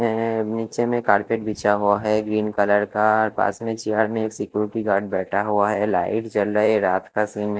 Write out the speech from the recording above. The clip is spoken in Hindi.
नीचे में कारपेट बीचा हुवा हैं ग्रीन कलर का पास में चियार में एक सिक्योरिटी गार्ड बैठा हुवा हैं लाईट जल रहीं हैं रात का सीन हैं।